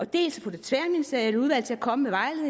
dels at få det tværministerielle udvalg til at komme